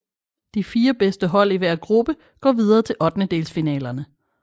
De fire bedste hold i hver gruppe går videre til ottedendelsfinalerne